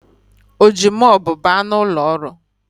Ọ ji mopu baa n’ụlọọrụ?